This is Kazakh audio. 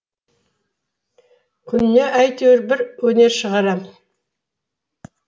күніне әйтеуір бір өнер шығарам